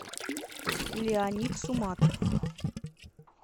леонид суматов